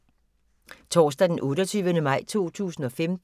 Torsdag d. 28. maj 2015